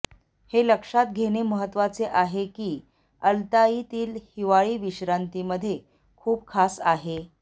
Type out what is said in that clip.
हे लक्षात घेणे महत्त्वाचे आहे की अल्ताईतील हिवाळी विश्रांतीमध्ये खूप खास आहे